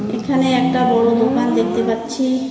এখানে একটা বড় দোকান দেখতে পাচ্ছি।